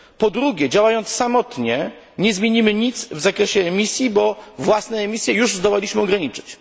Po drugie, działając samotnie nie zmienimy nic w zakresie emisji, bo własne emisje już zdołaliśmy ograniczyć.